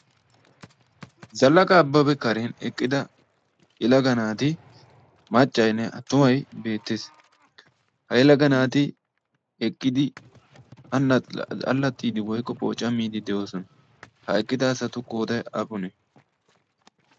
zallaqa abbabe karen eqqida yelaga naati maaccaynnee attumay beettees ha yelaga naati eqqidi allaattiidi woykko phoocamiidi de'oosona ha eqqida asatu qooday appunee